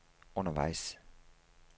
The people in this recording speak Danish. undervejs